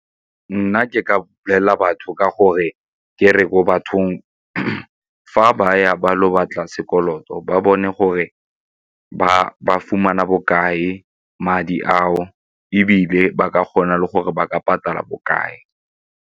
Nna ke ka bolelela batho ka gore ke re ko bathong fa ba ya ba lo batla sekoloto ba bone gore ba fumana bokae madi ao ebile ba ka kgona le gore ba ka patala bokae.